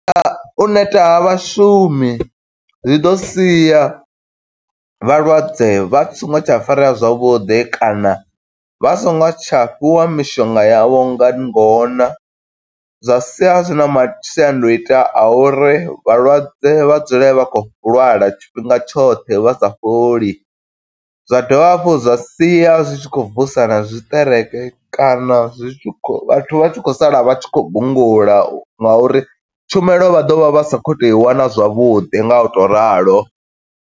U neta ha vhashumi zwi ḓo sia vhalwadze vha songo tsha farea zwavhuḓi, kana vha songo tsha fhiwa mishonga yavho nga ngona. Zwa sia zwi na masiandoitwa a uri vhalwadze vha dzule vha khou lwala tshifhinga tshoṱhe vha sa fholi, zwa dovha hafhu zwa sia zwi tshi khou vusa na zwiṱereke kana zwi tshi khou vhathu vha tshi khou sala vha tshi khou gungula nga uri, tshumelo vha ḓovha vha sa khou to i wana zwavhuḓi nga u to ralo.